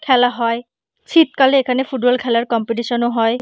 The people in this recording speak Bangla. খেলা হয়। শীতকালে এখানে ফুটবল খেলার কম্পিটিশন ও হয়।